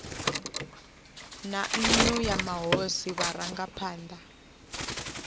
na nnu ya mahosi vharangaphana